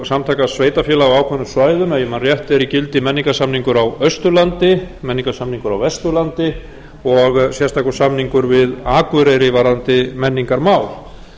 samtaka sveitarfélaga á ákveðnum svæðum ef ég man rétt er í gildi menningarsamningur á austurlandi menningarsamningur á vesturlandi og sérstakur samningur við akureyri varðandi menningarmál